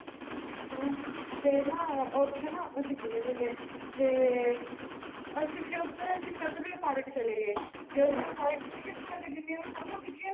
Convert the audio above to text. ਹੈ ਫਰ ਨ ਉੱਥੇ ਨਾ ਅਸੀਂ ਗਏ ਹੋਏ ਥੈ ਫਰ ਅਸੀਂ ਫੇਰ ਉਥੇ ਸਤਲੁਜ ਪਾਰਕ ਚਲੇ ਗਏ ਸਾਡੀਆਂ ਜਿਣਿਆ ਵੀ ਫੋਟੋਆ ਖਿੱਚਿਆ ਨ